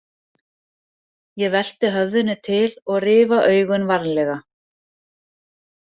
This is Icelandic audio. Ég velti höfðinu til og rifa augun varlega.